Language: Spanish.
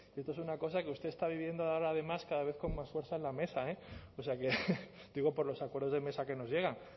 cierta es una cosa que usted está viviendo ahora además cada vez con más fuerza en la mesa o sea que digo por los acuerdos de mesa que nos llegan